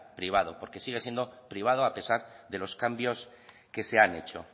privado porque sigue siendo privado a pesar de los cambios que se han hecho